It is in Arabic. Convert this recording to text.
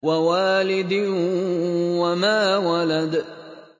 وَوَالِدٍ وَمَا وَلَدَ